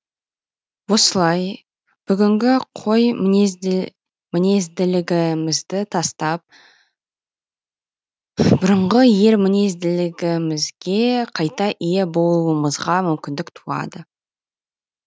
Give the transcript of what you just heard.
осылай бүгінгі қой мінезділігімізді тастап бұрынғы ер мінезділігімізге қайта ие болуымызға мүмкіндік туады